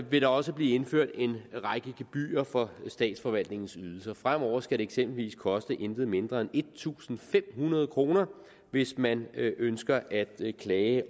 vil der også blive indført en række gebyrer for statsforvaltningens ydelser fremover skal det eksempelvis koste intet mindre end en tusind fem hundrede kr hvis man ønsker at klage